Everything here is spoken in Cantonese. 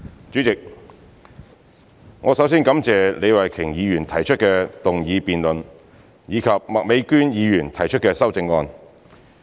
主席，我首先感謝李慧琼議員提出的議案辯論，以及麥美娟議員提出的修正案。